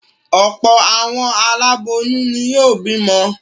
Ọ̀pọ̀ àwọn aláboyún ni yóò bímọ.